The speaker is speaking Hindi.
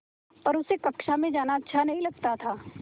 पर उसे कक्षा में जाना अच्छा नहीं लगता था